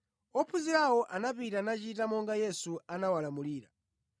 Ophunzirawo anapita nachita monga Yesu anawalamulira.